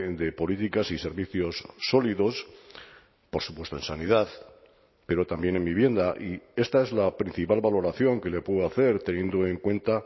de políticas y servicios sólidos por supuesto en sanidad pero también en vivienda y esta es la principal valoración que le puedo hacer teniendo en cuenta